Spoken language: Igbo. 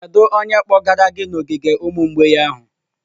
Kedu onye kpọgara gị n'ogige ụmụ mgbei ahụ?